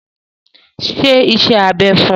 Ṣe iṣẹ́ abẹ fún un!